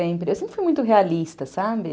Eu sempre fui muito realista, sabe?